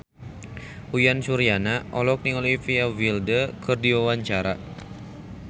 Uyan Suryana olohok ningali Olivia Wilde keur diwawancara